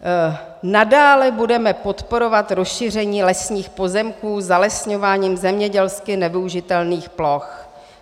"Nadále budeme podporovat rozšíření lesních pozemků zalesňováním zemědělsky nevyužitelných ploch."